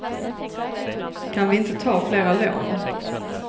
Kan vi inte ta flera lån?